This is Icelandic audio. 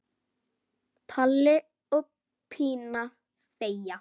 Palli og Pína þegja.